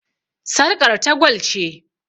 Sarƙar ta gwal ce.